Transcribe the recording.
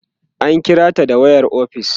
an kirata da wayar ofis